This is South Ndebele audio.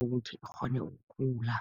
ukuthi ikghone ukukhula.